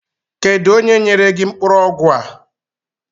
Kedu onye nyere gị mkpụrụ ọgwụ a?